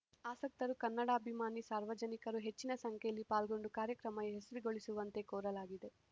ಆಸಕ್ತರು ಕನ್ನಡಾಭಿಮಾನಿ ಸಾರ್ವಜನಿಕರು ಹೆಚ್ಚಿನ ಸಂಖ್ಯೆಯಲ್ಲಿ ಪಾಲ್ಗೊಂಡು ಕಾರ್ಯಕ್ರಮ ಯಶಸ್ವಿಗೊಳಿಸುವಂತೆ ಕೋರಲಾಗಿದೆ